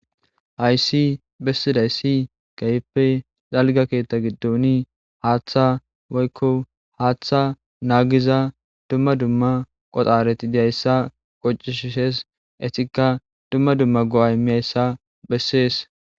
Hayssi bessiday ssi gayppe xalga keetta giddoni haaththa woykko haaththa naagiza dumma dumma qoxareti diyayssa qoccishshes etikka dumma dumma go7ay miyayssa bessees.